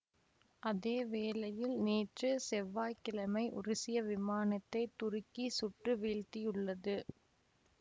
அதே வேளையில் நேற்று செவ்வாய் கிழமை உருசிய விமானத்தை துருக்கி சுட்டு வீழ்த்தியுள்ளது